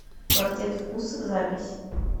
квартет вкусов запись